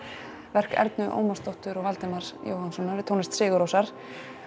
verk Ernu Ómarsdóttur og Valdimars Mássonar við tónlist Sigurrósar